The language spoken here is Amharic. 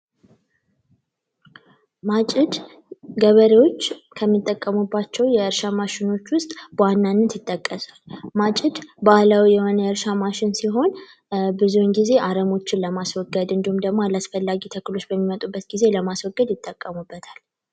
ማጭድ ገበሬዎች ከሚጠቀሙባቸው የእርሻ መሳሪያዎች ውስጥ በዋነኝነት ይጠቀሳል። ማጭድ ባህላዊ የእርሻ መሣሪያ ሲሆን አረሞችን ለማስወገድ እንዲሁም ደግሞ አላስፈላጊ የሆኑ ተክሎች በሚመጡበት ጊዜ ለማስወገድ ይጠቀሙበታል።